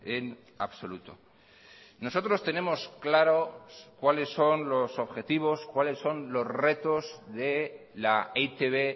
en absoluto nosotros tenemos claro cuáles son los objetivos cuáles son los retos de la e i te be